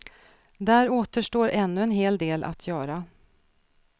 Där återstår ännu en hel del att göra.